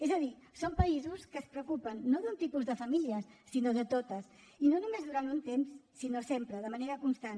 és a dir són països que es preocupen no d’un tipus de famílies sinó de totes i no només durant un temps sinó sempre de manera constant